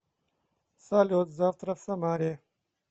салют завтра в самаре